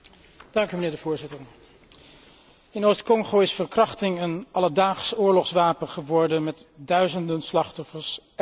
Voorzitter, in Oost Congo is verkrachting een alledaags oorlogswapen geworden met duizenden slachtoffers elk jaar.